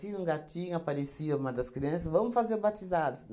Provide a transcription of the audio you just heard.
um gatinho, aparecia uma das crianças, vamos fazer batizado.